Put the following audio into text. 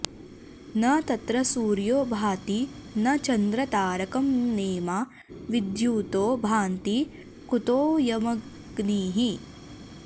न तत्र सूर्यो भाति न च॑न्द्रता॒र॒कं॒ नेमा विद्युतो भान्ति कुतो॑ऽयम॒ग्निः